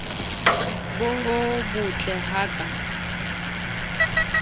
bo bottle ha a ka